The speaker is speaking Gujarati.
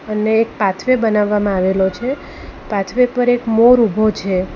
અને એક પાથ વે બનાવવામાં આવેલો છે પાથ વે એક મોર ઊભો છે.